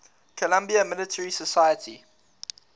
columbia military society